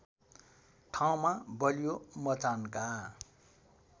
ठाउँमा बलियो मचानका